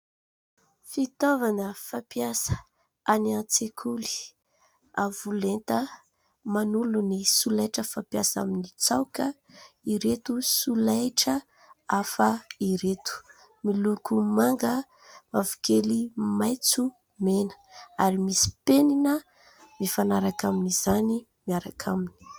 Fitaovana fampiasa any an-tsekoly. Avo lenta manolo ny solaitra fampiasa amin'ny tsaoka ireto solaitra hafa ireto. Miloko manga, mavokely, maitso, mena ary misy penina mifanaraka amin'izany miaraka aminy.